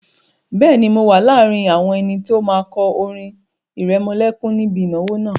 Bẹ́ẹ̀ni, mo wà láàrin àwọn ẹni tó máa kọ orin ìrẹmọlẹ́kún níbi ìnáwó náà